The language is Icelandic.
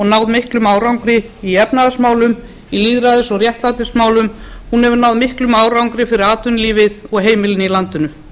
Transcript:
náð miklum árangri í efnahagsmálum í lýðræðis og réttlætismálum hún hefur náð miklum árangri fyrir atvinnulífið og heimilin í landinu